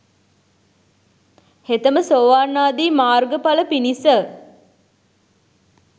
හෙතෙම සෝවාන් ආදී මාර්ගඵල පිණිස